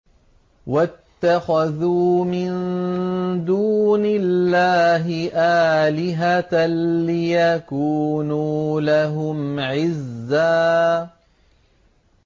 وَاتَّخَذُوا مِن دُونِ اللَّهِ آلِهَةً لِّيَكُونُوا لَهُمْ عِزًّا